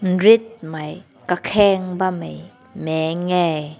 nret mai kakeng bam meh mek hae.